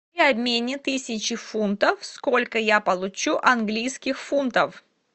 при обмене тысячи фунтов сколько я получу английских фунтов